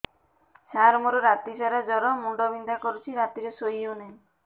ସାର ମୋର ରାତି ସାରା ଜ୍ଵର ମୁଣ୍ଡ ବିନ୍ଧା କରୁଛି ରାତିରେ ଶୋଇ ହେଉ ନାହିଁ